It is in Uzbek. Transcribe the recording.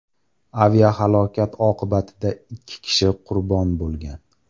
Aviahalokat oqibatida ikki kishi qurbon bo‘lgan.